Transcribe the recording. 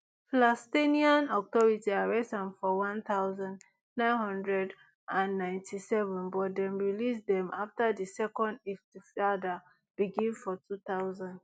palestinian authority arrest am for one thousand, nine hundred and ninety-seven but dem release dem afta di second iftifada begin for two thousand